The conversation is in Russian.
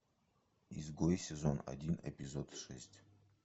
изгой сезон один эпизод шесть